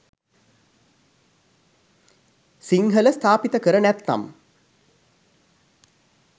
සිංහල ස්ථාපිත කර නැත්නම්